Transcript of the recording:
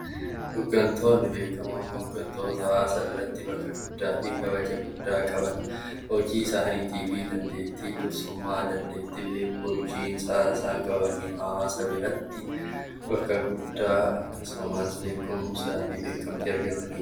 Hooggantoonni beekamoon hooggantoota saba biratti beekamtii guddaa fi kabaja guddaa qaban, hojii isaanii fi dandeettii dursummaa dandeettii bulchiinsa qabaniin hawaasa biratti bakka guddaa akkasumas beekumsa fi beekamtii argatanidha.